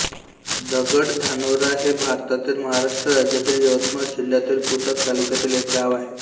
दगडधानोरा हे भारतातील महाराष्ट्र राज्यातील यवतमाळ जिल्ह्यातील पुसद तालुक्यातील एक गाव आहे